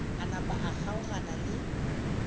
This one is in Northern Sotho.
a napa a kgaogana le